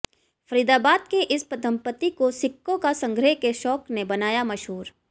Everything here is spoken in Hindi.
फरीदाबाद के इस दंपत्ति को सिक्कों का संग्रह के शौक ने बनाया मशहूर